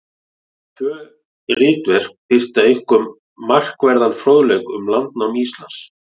Tvö ritverk birta einkum markverðan fróðleik um landnám Íslands.